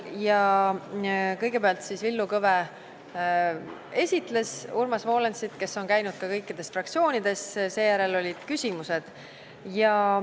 Kõigepealt esitles Villu Kõve Urmas Volensit, kes on käinud ka kõikides fraktsioonides, ja seejärel olid küsimused.